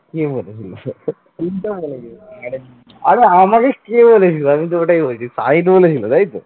আরে আমাকে কে বলেছিল আমি তো ওটাই বলছি সাঈদ বলেছিল তাইতো ।